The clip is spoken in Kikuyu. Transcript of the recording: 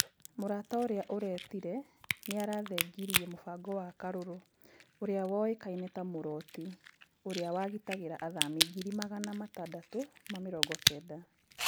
Mũrata ũrĩa ũretire nĩarathengirĩe mũbango wa Karũrũ. ũrĩa woikaine ta "mũroti", ũrĩa wagitagĩra athami ngiri magana matandatũma mĩrongo Kenda.